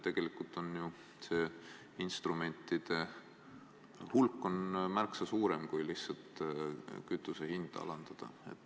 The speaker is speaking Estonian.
Tegelikult on see instrumentide hulk märksa suurem kui lihtsalt kütuse hinna alandamine.